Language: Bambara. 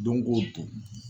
Don ko don